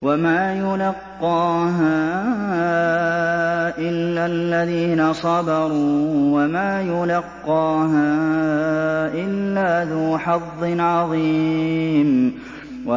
وَمَا يُلَقَّاهَا إِلَّا الَّذِينَ صَبَرُوا وَمَا يُلَقَّاهَا إِلَّا ذُو حَظٍّ عَظِيمٍ